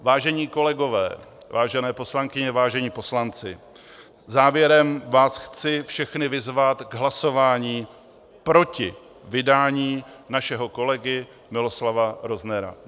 Vážení kolegové, vážené poslankyně, vážení poslanci, závěrem vás chci všechny vyzvat k hlasování proti vydání našeho kolegy Miloslava Roznera.